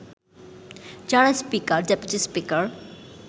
যারা speaker, deputy speaker